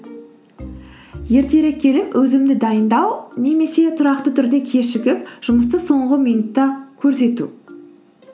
ертерек келіп өзімді дайындау немесе тұрақты түрде кешігіп жұмысты соңғы минутта көрсету